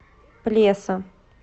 плеса